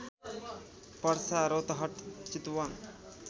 Parsa Rautahat Chitwan